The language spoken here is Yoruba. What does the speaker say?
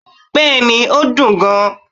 bẹẹni, o dún gán